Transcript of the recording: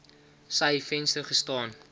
sy venster gestaan